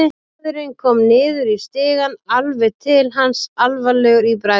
Maðurinn kom niður í stigann, alveg til hans, alvarlegur í bragði.